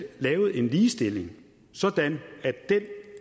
lavet en ligestilling sådan at den